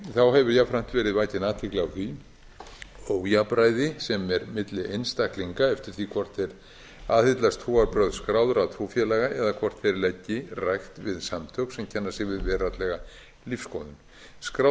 þá hefur jafnframt verið vakin athygli á því ójafnræði sem er milli einstaklinga eftir því hvort þeir aðhyllast trúarbrögð skráðra trúfélaga eða hvort þeir leggi rækt við samtök sem kenna sig við veraldlega lífsskoðun skráð